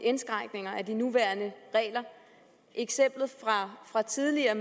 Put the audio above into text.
indskrænkninger af de nuværende regler eksemplet fra tidligere